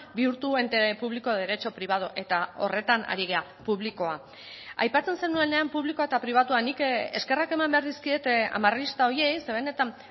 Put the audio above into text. bihurtu ente público de derecho privado eta horretan ari gara publikoa aipatzen zenuenean publikoa eta pribatua nik eskerrak eman behar dizkiet amarrista horiei ze benetan